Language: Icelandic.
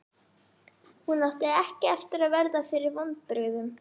Hún átti ekki eftir að verða fyrir vonbrigðum.